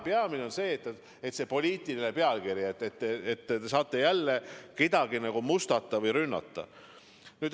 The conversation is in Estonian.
Peamine on poliitiline pealkiri, see, et te saate jälle kedagi mustata või rünnata.